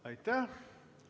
Aitäh!